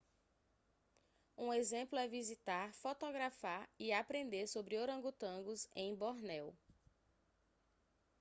um exemplo é visitar fotografar e aprender sobre orangotangos em bornéu